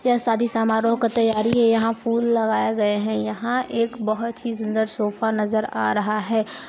यह शादी समारोह का तैयारी हैं यहाँ फूल लगाए गए हैं यहाँ एक बहोत ही सुंदर सोफा नज़र आ रहा हैं।